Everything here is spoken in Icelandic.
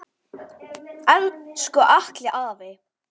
Elsku Atli afi.